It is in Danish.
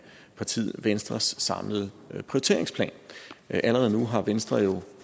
partiet venstres samlede prioriteringsplan allerede nu har venstre jo